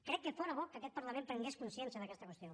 crec que fóra bo que aquest parlament prengués consciència d’aquesta qüestió